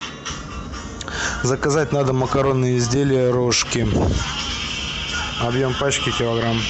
заказать на дом макаронные изделия рожки объем пачки килограмм